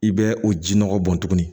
I bɛ o ji nɔgɔ bɔn tuguni